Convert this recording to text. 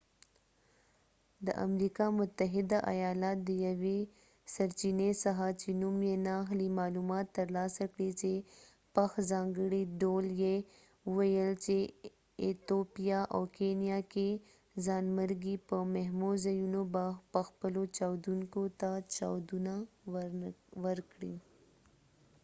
د امریکا متحده ایالات د یوې سرچینې څخه چې نوم یې نه اخلي معلومات ترلاسه کړي چې پخ ځانګړي ډول یې وویل چې ایتوپیا او کینیا کې ځانمرګي په مهمو ځایونو به خپلو چاودیدونکو ته چاودنه ورکړي